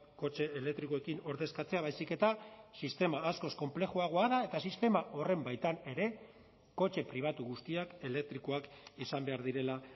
kotxe elektrikoekin ordezkatzea baizik eta sistema askoz konplexuagoa da eta sistema horren baitan ere kotxe pribatu guztiak elektrikoak izan behar direla